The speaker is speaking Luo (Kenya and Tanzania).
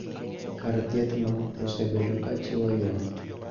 Kar thieth no osebedo ka chiwo ywak